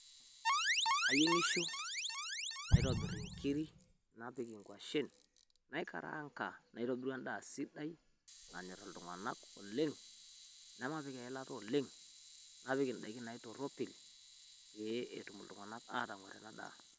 Kayeng'isho naitobir nkirii napiik ng'uasen naikarang'a naitobiru endaa sidai oleng naanyor iltung'anak oleng naa maapiik olaata oleng napiik ndaakin naitoropil pee etuum iltung'anak aitomirita endaa.